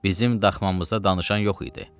Bizim daxmamızda danışan yox idi.